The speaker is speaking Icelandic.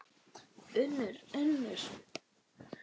UNNUR: Unnur.